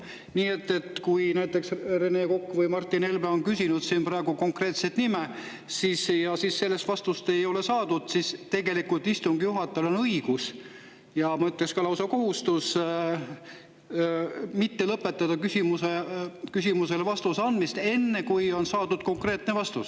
Nii et kui Rene Kokk ja Martin Helme on küsinud siin konkreetset nime ja sellist vastust ei ole saadud, siis tegelikult istungi juhatajal on õigus, ja ma ütleksin, et lausa kohustus mitte lõpetada küsimusele vastuse andmist enne, kui on saadud konkreetne vastus.